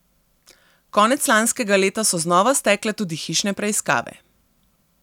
Konec lanskega leta so znova stekle tudi hišne preiskave.